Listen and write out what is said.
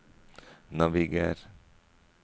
naviger